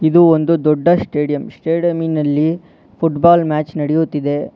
ಇದು ಒಂದು ದೊಡ್ಡ ಸ್ಟೇಡಿಯಂ ಸ್ಟೆಡಿಯಂ ನಲ್ಲಿ ಫುಟಬಾಲ್ ಮ್ಯಾಚ್ ನಡಿಯುತಿದೆ.